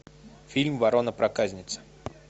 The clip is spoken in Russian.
фильм ворона проказница